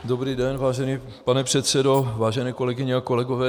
Dobrý den, vážený pane předsedo, vážené kolegyně a kolegové.